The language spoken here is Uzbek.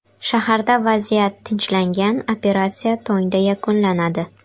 Shaharda vaziyat tinchlangan, operatsiya tongda yakunlanadi.